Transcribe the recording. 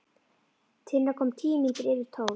Tinna kom tíu mínútur yfir tólf.